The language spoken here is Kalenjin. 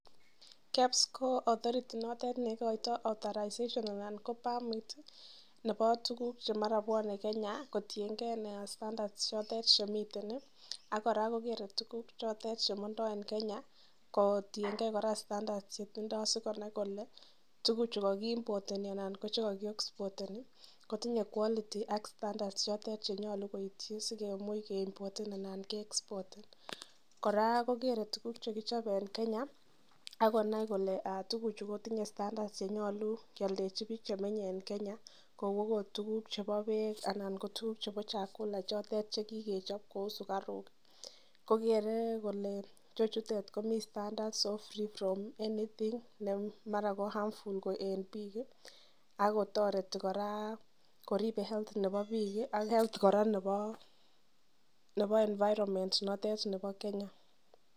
KEBS ko authority notet ne ikoitoi authorization anan ko permit nebo tuguk che mara kobwone Kenya kotienge standards chotet chemiten ak kora kogere tuugk chotet che mondo en Kenya kotienge kora standards chetindo sikonai kole tugucho kogiimpoertni anan koche kogiexporteni kotinye quality ak standards chotet che nyolu koityi sikemuch keimpoten anan ke expoten. Kora ko kere tugukche kichope en Kenya ak konai kole tuguchu kotinye standards chenyole keoldechi biik che mi en Kenya kou agot tuguk chebo beek anan ko chebo chakula che kigechop kou sugaruk kogere kole ichechutet komi standards so free from anything ne mara ko harmful en biik ak koor kotoreti kora koribe health nebo biiik ak health kora nebo environment notet nebo Kenya.